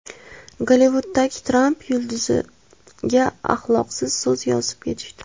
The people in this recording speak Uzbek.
Gollivuddagi Tramp yulduziga axloqsiz so‘z yozib ketishdi.